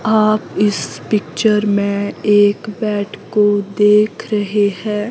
आप इस पिक्चर में एक बेड को देख रहे हैं।